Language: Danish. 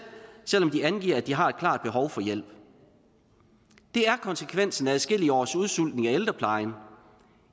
selv om de angiver at de har et klart behov for hjælp det er konsekvensen af adskillige års udsultning af ældreplejen